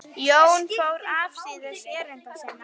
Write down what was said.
Jón fór afsíðis erinda sinna.